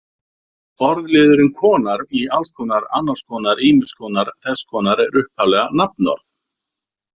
Orðliðurinn-konar í alls konar, annars konar, ýmiss konar, þess konar er upphaflega nafnorð.